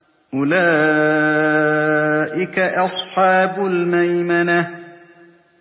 أُولَٰئِكَ أَصْحَابُ الْمَيْمَنَةِ